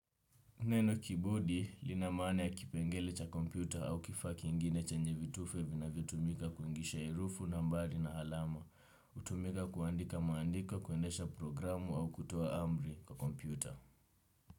Neno kibodi linamaana ya kipengele cha kompyuta au kifaa kingine chenye vitufe vinavyotumika kuingisha herufi, nambari na alama. Hutumika kuandika maandiko, kuendesha programu au kutoa amri kwa kompyuta.